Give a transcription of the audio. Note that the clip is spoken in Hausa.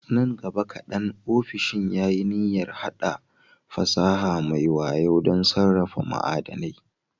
Nan gaba kaɗan, ofishin ya yi niyyar haɗa fasaha mai wayo don sarrafa ma'adanai.